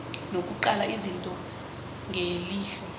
nokuqala izinto ngelihlo